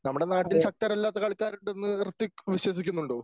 നമ്മുടെ നാട്ടിൽ ശക്തരല്ലാത്ത കളിക്കാരുണ്ടെന്ന് ഋഥ്വിക് വിശ്വസിക്കുന്നുണ്ടോ?